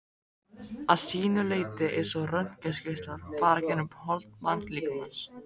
að sínu leyti eins og röntgengeislar fara gegnum hold mannslíkamans.